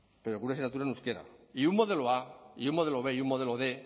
pero con una asignatura en euskera y un modelo a y un modelo b y un modelo quinientos